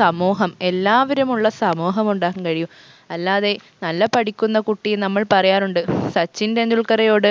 സമൂഹം എല്ലാവരുമുള്ള സമൂഹം ഉണ്ടാക്കാൻ കഴിയു അല്ലാതെ നല്ല പഠിക്കുന്ന കുട്ടി നമ്മൾ പറയാറുണ്ട് സച്ചിൻ ടെണ്ടുൽക്കറയോട്